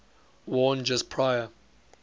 worn just prior